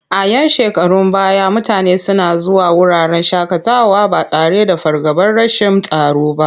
A 'yan shekarun baya mutane suna zuwa wuraren shaƙatawa ba tare da fargabar rashin tsaro ba.